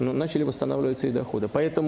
но начали восстанавливаться и доходы поэтому